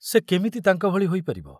ସେ କେମିତି ତାଙ୍କ ଭଳି ହୋଇପାରିବ?